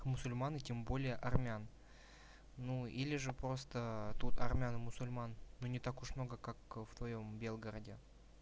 мусульман и тем более армян ну или же просто тут армян и мусульман ну не так уж много как в твоём белгороде